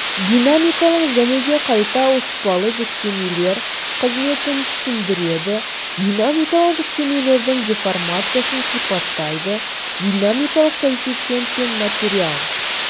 динамикалық және де қайта ауыспалы жүктемелер қызметін түсіндіреді динамикалық жүктемелердің деформациясын сипаттайды динамикалық коэффициент пен материал